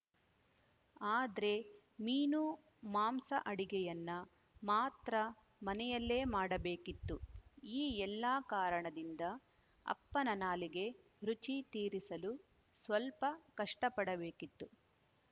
ಆದ್ರೆ ಮೀನು ಮಾಂಸ ಅಡಿಗೆಯನ್ನ ಮಾತ್ರ ಮನೆಯಲ್ಲೇ ಮಾಡಬೇಕಿತ್ತು ಈ ಎಲ್ಲ ಕಾರಣದಿಂದ ಅಪ್ಪನ ನಾಲಿಗೆ ರುಚಿ ತೀರಿಸಲು ಸ್ವಲ್ಪ ಕಷ್ಟಪಡಬೇಕಿತ್ತು